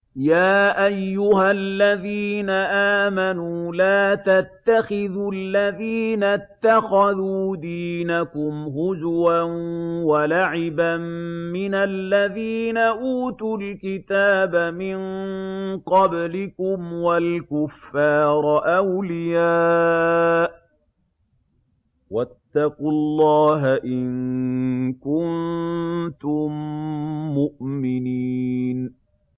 يَا أَيُّهَا الَّذِينَ آمَنُوا لَا تَتَّخِذُوا الَّذِينَ اتَّخَذُوا دِينَكُمْ هُزُوًا وَلَعِبًا مِّنَ الَّذِينَ أُوتُوا الْكِتَابَ مِن قَبْلِكُمْ وَالْكُفَّارَ أَوْلِيَاءَ ۚ وَاتَّقُوا اللَّهَ إِن كُنتُم مُّؤْمِنِينَ